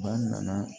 Ba nana